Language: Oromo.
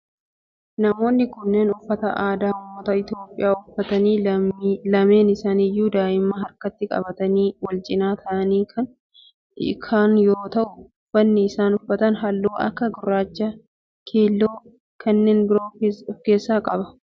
Namoonni kunneen uffata aadaa ummata Itiyoophiyaa uffatanii lameen isaaniyyuu daa'ima harkatti qabatanii wal cinaa ta'aanii kan yoo ta'u uffanni isaan uffatan halluu akka gurraacha, keelloo fi kanneen biroo of keessaa qaba